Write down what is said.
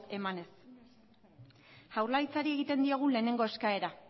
emanez jaurlaritzari egiten diogun lehenengo eskaera